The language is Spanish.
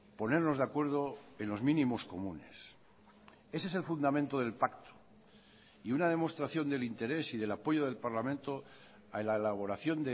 ponernos de acuerdo en los mínimos comunes ese es el fundamento del pacto y una demostración del interés y del apoyo del parlamento a la elaboración